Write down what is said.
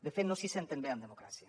de fet no s’hi senten bé en democràcia